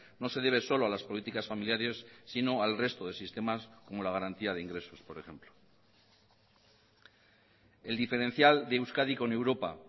no se debe solo a las políticas familiares sino al resto de sistemas como la garantía de ingresos por ejemplo el diferencial de euskadi con europa